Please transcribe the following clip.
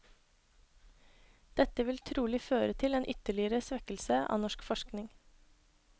Dette vil trolig føre til en ytterligere svekkelse av norsk forskning.